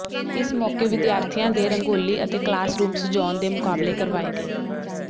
ਇਸ ਮੌਕੇ ਵਿਦਿਆਰਥੀਆਂ ਦੇ ਰੰਗੋਲੀ ਅਤੇ ਕਲਾਸ ਰੂਮ ਸਜਾਉਣ ਦੇ ਮੁਕਾਬਲੇ ਕਰਵਾਏ ਗਏ